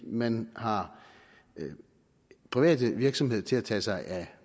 man har private virksomheder til at tage sig af